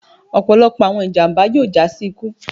ọpọlọpọ awọn ijamba yoo ja si iku